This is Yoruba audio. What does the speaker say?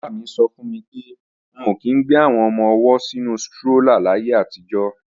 Bàbá mi sọ fún mi pé wọn ò kí í ń gbé àwọn ọmọ-ọwọ́ sínu strólà láyé àtijọ́